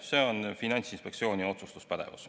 See on Finantsinspektsiooni otsustuspädevus.